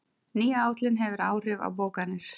Ný áætlun hefur áhrif á bókanir